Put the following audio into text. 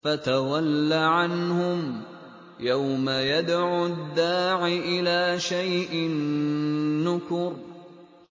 فَتَوَلَّ عَنْهُمْ ۘ يَوْمَ يَدْعُ الدَّاعِ إِلَىٰ شَيْءٍ نُّكُرٍ